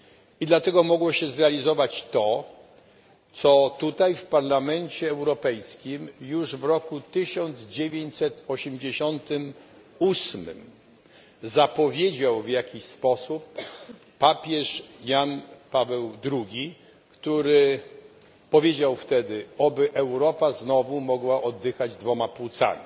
I dlatego mogło się zrealizować to, co tutaj, w Parlamencie Europejskim, już w roku 1988 zapowiedział w pewien sposób papież Jan Paweł II, który powiedział wtedy Oby Europa znowu mogła oddychać dwoma płucami.